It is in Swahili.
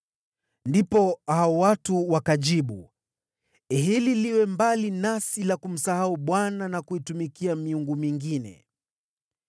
Ndipo hao watu wakajibu, “Hili jambo liwe mbali nasi la kumsahau Bwana na kuitumikia miungu mingine!